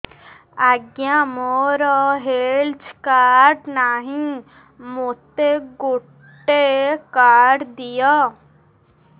ଆଜ୍ଞା ମୋର health card ନାହିଁ ମୋତେ ଗୋଟେ କାର୍ଡ ଦିଅ